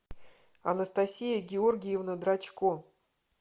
анастасия георгиевна драчко